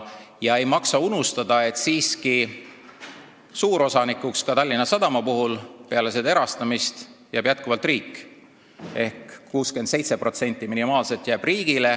Ei maksa unustada, et Tallinna Sadama suurosanikuks ka peale seda erastamist jääb jätkuvalt riik ehk minimaalselt 67% jääb riigile.